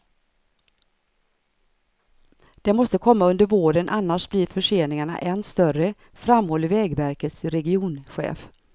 Det måste komma under våren annars blir förseningarna än större, framhåller vägverkets regionchef.